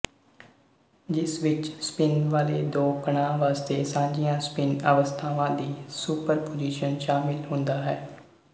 ਜਿਸ ਵਿੱਚ ਸਪਿੱਨ ਵਾਲ਼ੇ ਦੋ ਕਣਾਂ ਵਾਸਤੇ ਸਾਂਝੀਆਂ ਸਪਿੱਨ ਅਵਸਥਾਵਾਂ ਦੀ ਸੁਪਰਪੁਜੀਸ਼ਨ ਸ਼ਾਮਿਲ ਹੁੰਦਾ ਹੈ